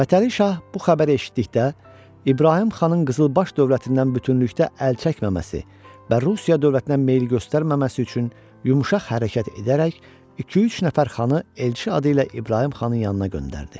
Fətəli Şah bu xəbəri eşitdikdə, İbrahim xanın qızılbaş dövlətindən bütünlükdə əl çəkməməsi və Rusiya dövlətinə meyil göstərməməsi üçün yumşaq hərəkət edərək iki-üç nəfər xanı elçi adı ilə İbrahim xanın yanına göndərdi.